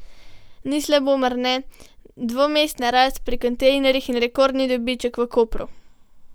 Ni slabo, mar ne, dvomestna rast pri kontejnerjih in rekordni dobiček v Kopru?